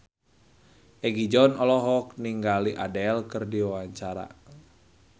Egi John olohok ningali Adele keur diwawancara